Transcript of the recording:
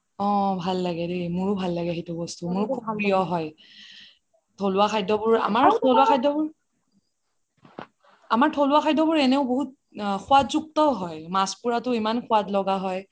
অহ ভাল লাগে দেই মোৰো ভাল লাগে সেইটো বস্তু মোৰ খুব প্ৰিয় হয় থলুৱা খাদ্য বোৰ আমাৰ থলুৱা খাদ্যবোৰ, আমাৰ থলুৱা খাদ্যবোৰ এনেও বহুত সুৱাদ যুক্তও হয় মাছ পুৰাটো ইমান সুৱাদ লগা হয়